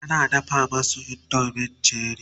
tana dafa masu indomie na Cherie